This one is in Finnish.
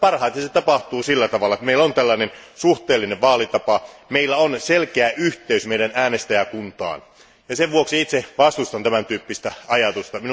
Parhaiten se tapahtuu sillä tavalla, että meillä on suhteellinen vaalitapa ja meillä on selkeä yhteys meidän äänestäjäkuntaamme. Sen vuoksi itse vastustan tämän tyyppistä ajatusta.